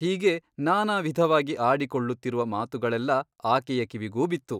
ಹೀಗೆ ನಾನಾವಿಧವಾಗಿ ಆಡಿಕೊಳ್ಳುತ್ತಿರುವ ಮಾತುಗಳೆಲ್ಲ ಆಕೆಯ ಕಿವಿಗೂ ಬಿತ್ತು.